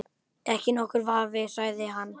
Ekki nokkur vafi sagði hann.